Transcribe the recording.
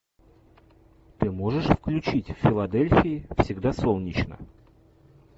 ты можешь включить в филадельфии всегда солнечно